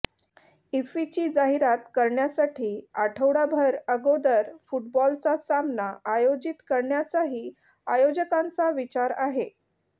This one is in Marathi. इफ्फीची जाहिरात करण्यासाठी आठवडाभर अगोदर फुटबॉलचा सामना आयोजित करण्याचाही आयोजकांचा विचार आहे